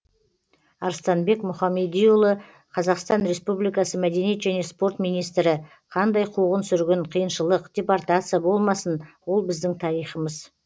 арыстанбек мұхамедиұлы қазақстан республикасы мәдениет және спорт министрі қандай қуғын сүргін қиыншылық депортация болмасын ол біздің тарихымыз